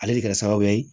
Ale de kɛra sababu ye